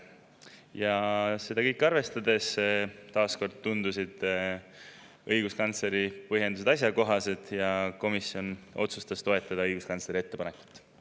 Ja seda kõike arvestades tundusid õiguskantsleri põhjendused taas kord asjakohased ja komisjon otsustas toetada õiguskantsleri ettepanekut.